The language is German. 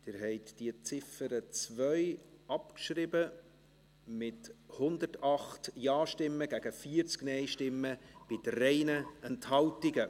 Sie haben die Ziffer 2 abgeschrieben, mit 108 Ja- gegen 40 Nein-Stimmen bei 3 Enthaltungen.